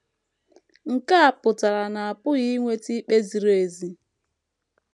Nke a pụtara na a pụghị inweta ikpe ziri ezi.